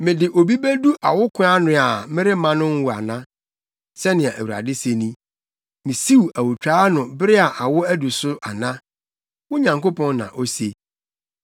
Mede obi bedu awoko ano a memma no nwo ana?” Sɛnea Awurade se ni. “Misiw awotwaa ano bere a awo adu so ana?” Wo Nyankopɔn na ose.